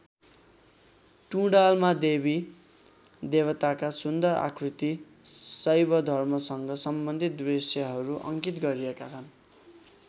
टुँडालमा देवी देवताका सुन्दर आकृति शैवधर्मसँग सम्बन्धित दृश्यहरू अङ्कित गरिएका छन्।